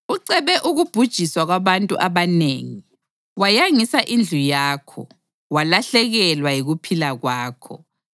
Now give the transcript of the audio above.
Ucebe ukubhujiswa kwabantu abanengi, wayangisa indlu yakho, walahlekelwa yikuphila kwakho.